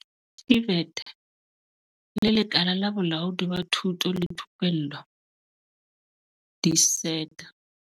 TVET le Lekala la Bolaodi ba Thuto le Thupello di-SETA.